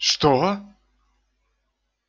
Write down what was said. что